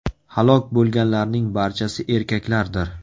Halok bo‘lganlarning barchasi erkaklardir.